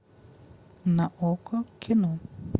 на окко кино